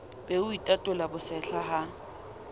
be o itatola bosehla ha